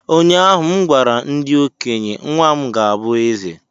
Ụnyahụ m gwara ndị okenye, nwa m ga-abụ eze!